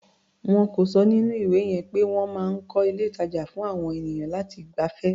Wọ́n kọ ọ́ sínú ìwé yẹn pé wọ́n máa ń kọ́ ilé-ìtàjà fún àwọn ènìyàn láti gbafẹ́.